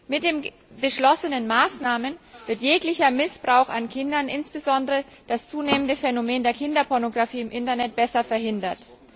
Mit den beschlossenen Maßnahmen wird jeglicher Missbrauch an Kindern, insbesondere das zunehmende Phänomen der Kinderpornografie im Internet, besser verhindert.